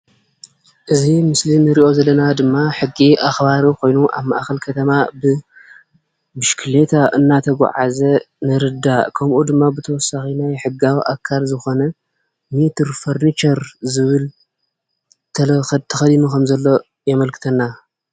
እዚ ምስሊ እንሪኦ ዘለና ድማ ሕጊ ኣክባሪ ኮይኑ ኣብ ማእከል ከተማ ብብሽክሌታ እናተጉዓዘ ንርዳእ ከምኡ ድማ ብተወሳኺ ናይ ሕጊ ኣካል ዝኾነ ሜትር ፈርኒቸር ዝብል ተኸዲኑ ከም ዘሎ የመልክተና።